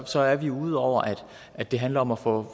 så er vi ude over at det handler om at få